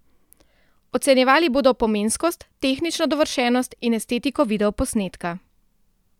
Ocenjevali bodo pomenskost, tehnično dovršenost in estetiko videoposnetka.